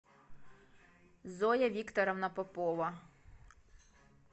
зоя викторовна попова